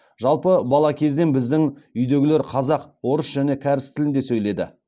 жалпы бала кезден біздің үйдегілер қазақ орыс және кәріс тілінде сөйледі